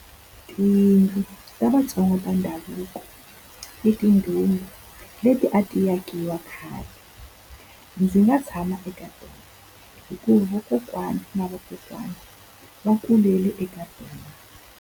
Tiyindlu ta vaTsongata ndhavuko i mindhumba leti a ti akiwa khale. Ndzi nga tshama eka tona hikuva vakokwani na vakokwana va kulele eka tona.